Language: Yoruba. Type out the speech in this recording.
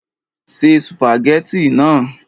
Se sùpàgẹ́tì náà